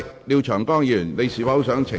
廖長江議員，你是否想澄清？